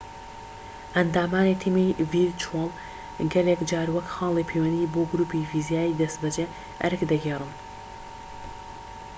ئەندامانی تیمی ڤیرچوەڵ گەلێک جار وەک خاڵی پەیوەندی بۆ گروپی فیزیایی دەستبەجێ ئەرک دەگێڕن